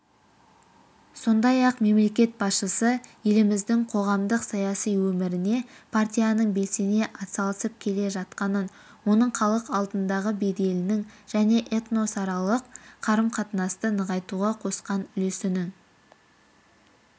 сондай-ақ мемлекет басшысы еліміздің қоғамдық-саяси өміріне партияның белсене атсалысып келе жатқанын оның халық алдындағы беделінің және этносаралық қарым-қатынасты нығайтуға қосқан үлесінің